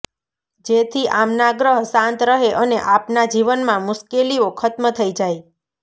જેથી આમના ગ્રહ શાંત રહે અને આપના જીવનમાં મુશ્કેલીઓ ખત્મ થઇ જાય